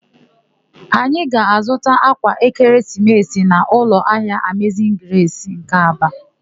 Anyị ga-azụta ákwà ekeresimesi n'ụlọahịa Amezin Gresi nke Aba.